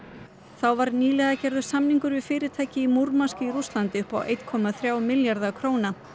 þá var nýverið gerður samningur við fyrirtæki í Múrmansk í Rússlandi upp á einn komma þrjá milljarða króna